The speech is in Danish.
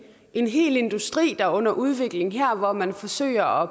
en hel industri der er under udvikling her hvor man forsøger